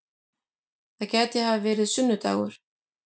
Það gæti hafa verið sunnu-dagur.